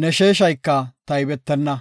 ne sheeshayka taybetenna.